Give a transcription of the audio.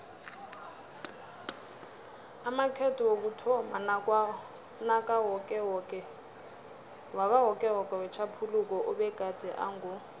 amakhetho wokuthomma wakawokewoke wetjhaphuluko abegade ango